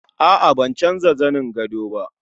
A'a ban canja zani gadon ba